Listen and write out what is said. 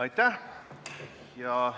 Aitäh!